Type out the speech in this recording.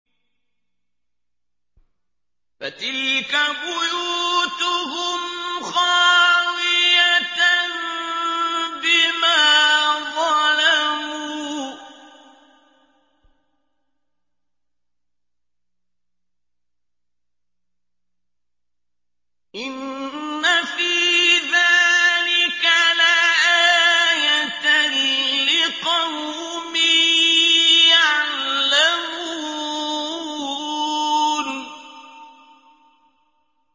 فَتِلْكَ بُيُوتُهُمْ خَاوِيَةً بِمَا ظَلَمُوا ۗ إِنَّ فِي ذَٰلِكَ لَآيَةً لِّقَوْمٍ يَعْلَمُونَ